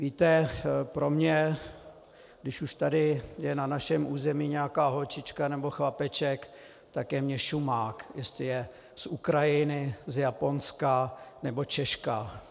Víte, pro mě, když už tady je na našem území nějaká holčička nebo chlapeček, tak je mi šumák, jestli je z Ukrajiny, z Japonska, nebo Češka.